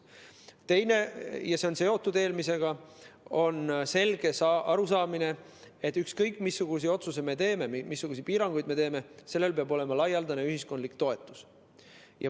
Teine on seotud eelmisega, see on selge arusaam, et ükskõik missuguse otsuse me teeme, missuguseid piiranguid me teeme, sellel peab olema laialdane ühiskondlik toetus.